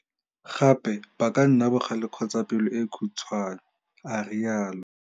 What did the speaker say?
Gape ba ka nna bogale kgotsa pelo e khutshwane, a rialo.